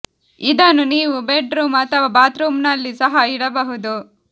ಇದನ್ನು ನೀವು bedroom ಅಥವಾ ಬಾತ್ ರೂಮ್ ನಲ್ಲಿ ಸಹ ಇಡಬಹುದು